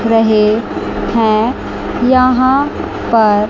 रहे हैं यहां पर--